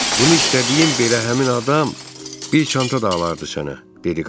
Bunu istədiyim belə həmin adam bir çanta da alardı sənə, dedi qadın.